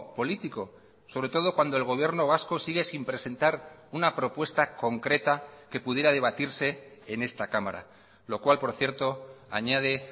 político sobre todo cuando el gobierno vasco sigue sin presentar una propuesta concreta que pudiera debatirse en esta cámara lo cual por cierto añade